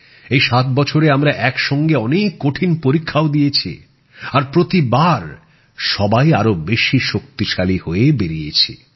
এই ৭ বছরে আমরা এক সঙ্গে অনেক কঠিন পরীক্ষাও দিয়েছি আর প্রতিবার সবাই আরো শক্তিশালী হয়ে বেরিয়েছি